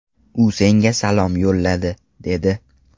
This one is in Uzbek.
U senga salom yo‘lladi”, dedi.